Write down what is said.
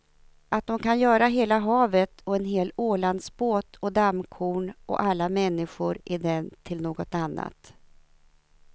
Att de kan göra hela havet och en hel ålandsbåt och dammkorn och alla människor i den till något annat.